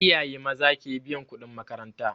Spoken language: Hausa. Iyaye maza ke biyan kuɗin makaranta